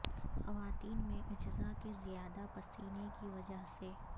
خواتین میں اجزاء کے زیادہ پسینے کی وجہ سے